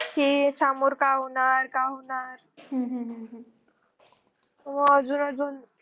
कि सामोर काय होणार काय होणार